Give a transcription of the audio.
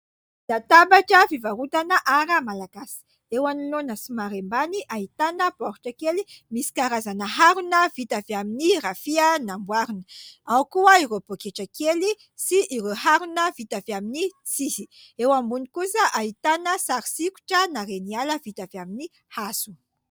Latabatra fivarotana ara Malagasy : eo anoloana somary ambany ahitana baoritra kely, misy karazana harona vita avy amin'ny rafia namboarina ; ao koa ireo poketra kely sy ireo harona vita avy amin'ny tsihy, eo ambony kosa ahitana sary sikotrana reniala vita avy amin'ny hazo.